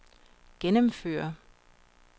gennemføre